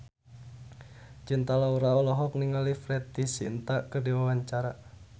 Cinta Laura olohok ningali Preity Zinta keur diwawancara